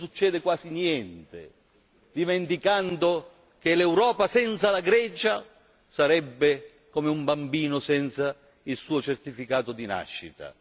Non succede quasi niente, dimenticando che l'Europa senza la Grecia sarebbe come un bambino senza il suo certificato di nascita.